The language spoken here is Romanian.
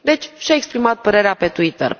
Deci și a exprimat părerea pe Twitter.